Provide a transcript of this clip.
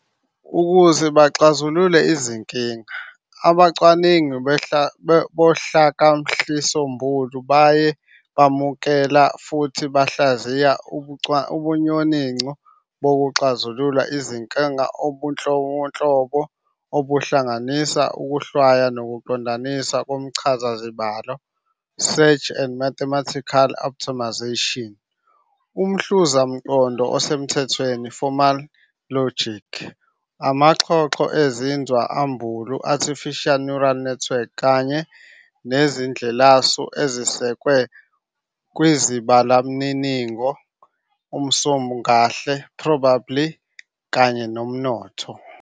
Ukuze baxazulule lezinkinga, abacwaningi bohlakahlisombulu baye bamukela futhi bahlayiza ubunyoninco bokuxazula izinkinga obunhlobonhlobo - obuhlanganisa ukuhlwaya nokungqandanisa komchazazibalo "search and mathematical optimisation", umhluzamqondo osemthethweni "formal logic", amaxhoxho ezinzwa ambulu, "artificial neural networks", kanye nezindlelasu ezisekwe kwizibalomniningo, umsongahle, "probability", kanye nomnotho.